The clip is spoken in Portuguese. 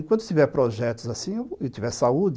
Enquanto tiver projetos assim e tiver saúde,